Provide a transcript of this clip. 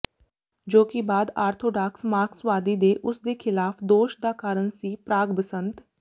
ਜੋ ਕਿ ਬਾਅਦ ਆਰਥੋਡਾਕਸ ਮਾਰਕਸਵਾਦੀ ਕੇ ਉਸ ਦੇ ਖਿਲਾਫ ਦੋਸ਼ ਦਾ ਕਾਰਨ ਸੀ ਪ੍ਰਾਗ ਬਸੰਤ